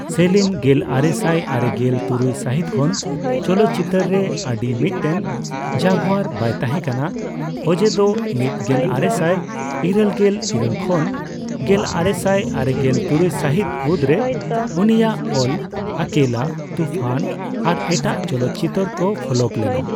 ᱥᱮᱞᱤᱢ ᱜᱮᱞᱟᱨᱮᱥᱟᱭ ᱟᱨᱮᱜᱮᱞ ᱛᱩᱨᱩᱭ ᱥᱟᱹᱦᱤᱛ ᱠᱷᱚᱱ ᱪᱚᱞᱚᱛᱪᱤᱛᱟᱹᱨ ᱨᱮ ᱟᱹᱰᱤ ᱢᱤᱫᱴᱮᱱ ᱡᱟᱜᱣᱟᱨ ᱵᱟᱭ ᱛᱟᱦᱮᱸᱠᱟᱱᱟ, ᱚᱡᱮ ᱫᱚ ᱑ ᱜᱮᱞ ᱟᱨᱮᱥᱟᱭ ᱤᱨᱟᱹᱞᱜᱮᱞ ᱤᱨᱟᱹᱞ ᱠᱷᱚᱱ ᱜᱮᱞᱟᱨᱮᱥᱟᱭ ᱟᱨᱮᱜᱮᱞ ᱛᱩᱨᱩᱭ ᱥᱟᱹᱦᱤᱛ ᱢᱩᱫᱪᱽᱨᱮ ᱩᱱᱤᱭᱟᱜ ᱚᱞ ᱟᱠᱮᱞᱟ, ᱛᱩᱯᱷᱟᱱ ᱟᱨ ᱮᱴᱟᱜ ᱪᱚᱞᱚᱛᱪᱤᱛᱟᱹᱨ ᱠᱚ ᱯᱷᱞᱚᱯ ᱞᱮᱱᱟ ᱾